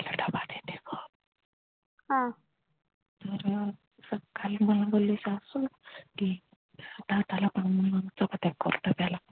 तर काल मला बोलली सासू कि दादाला पण म्हणून अटक करतो त्याला